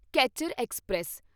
catcher express